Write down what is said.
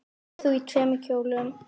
Verður þú í tveimur kjólum?